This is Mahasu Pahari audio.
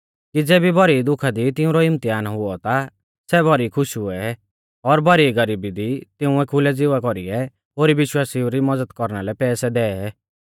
कि ज़ेबी भौरी दुःखा दी तिउंरौ इम्तहान हुऔ ता सै भौरी खुश हुऐ और भौरी गरीबी दी तिंउऐ खुलै ज़िवा कौरीऐ ओरी विश्वासिउ री मज़द कौरना लै पैसै दै